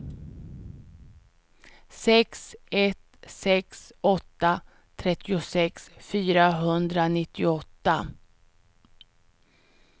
sex ett sex åtta trettiosex fyrahundranittioåtta